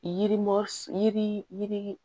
Yirimri yiri